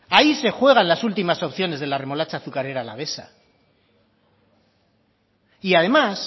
hay se juegan las ultimas opciones de la remolacha azucarera alavesa y además